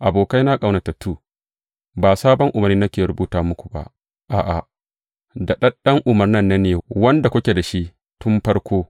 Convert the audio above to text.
Abokaina ƙaunatattu, ba sabon umarni nake rubuta muku ba, a’a, daɗaɗɗen umarnin nan ne, wanda kuke da shi tun farko.